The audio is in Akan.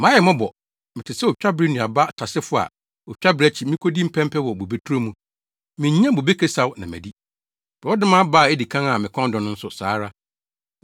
Mayɛ mmɔbɔ! Mete sɛ otwabere nnuaba tasefo a otwabere akyi mikodi mpɛpɛ wɔ bobeturo mu; minnya bobe kasiaw na madi, borɔdɔma aba a edi kan a mekɔn dɔ nso, saa ara.